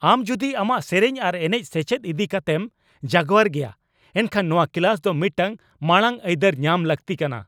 ᱟᱢ ᱡᱩᱫᱤ ᱟᱢᱟᱜ ᱥᱮᱹᱨᱮᱹᱧ ᱟᱨ ᱮᱱᱮᱪ ᱥᱮᱪᱮᱫ ᱤᱫᱤ ᱠᱟᱛᱮᱢ ᱡᱟᱜᱣᱟᱨ ᱜᱮᱭᱟ, ᱮᱱᱠᱷᱟᱱ ᱱᱚᱶᱟ ᱠᱞᱟᱥ ᱫᱚ ᱢᱤᱫᱴᱟᱝ ᱢᱟᱲᱟᱝ ᱟᱹᱭᱫᱟᱹᱨ ᱧᱟᱢ ᱞᱟᱹᱠᱛᱤ ᱠᱟᱱᱟ ᱾